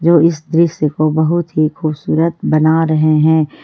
जो इस दृश्य को बहुत ही खूबसूरत बना रहे हैं।